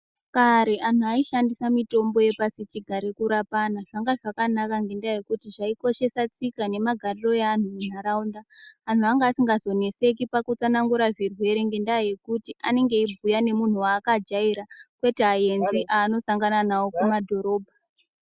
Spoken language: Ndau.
Kare anhu aishandisa mitombo yepasichigare kurapana. Zvanga zvakanaka ngendaa yekuti zvaikoshesa tsika nemagariro eanhu munharaunda. Anhu vanga asikazonetseki pakutsanangura zvizere ngekuti anenge eibhuya nemunhu aakajaira kwete aenzi aanosangana nawo kumadhorobha.